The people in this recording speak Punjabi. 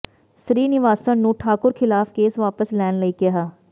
ਸ੍ਰੀਨਿਵਾਸਨ ਨੂੰ ਠਾਕੁਰ ਖ਼ਿਲਾਫ਼ ਕੇਸ ਵਾਪਸ ਲੈਣ ਲਈ ਕਿਹਾ